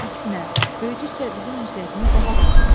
Əksinə, böyüdükcə bizim ünsiyyətimiz daha da artdı.